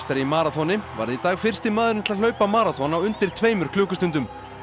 í maraþoni varð í dag fyrsti maðurinn til að hlaupa maraþon á undir tveimur klukkustundum